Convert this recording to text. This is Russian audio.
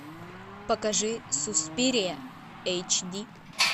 покажи суспирия эйч ди